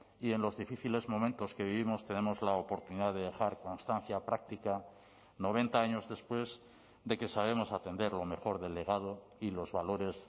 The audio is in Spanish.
y en los difíciles momentos que vivimos tenemos la oportunidad de dejar constancia práctica noventa años después de que sabemos atender lo mejor delegado y los valores